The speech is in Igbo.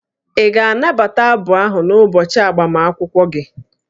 Ị ga-anabata abụ ahụ n'ụbọchị agbamakwụkwọ gị?